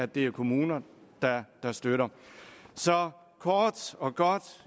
det er kommuner der der støtter så kort og godt